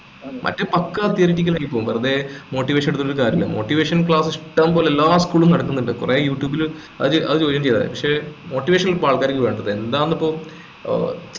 മറ്റ് പക്കാ theoretical ആയിപ്പോകും വെറുതെ motivational എടുത്തിട്ട് ഒരു കാര്യമില്ല motivation class ഇഷ്ടം പോലെ എല്ലാ school ഉം നടത്തിന്നുണ്ട് കൊറേ youtube ലു അത് ചോദ്യം ചെയ്ത പക്ഷെ motivation അല്ല ആൾക്കറിക്ക് വേണ്ടത് എന്താ എന്താണിപ്പോ ഏർ